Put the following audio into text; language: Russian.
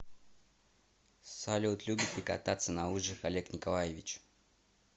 салют любит ли кататься на лыжах олег николаевич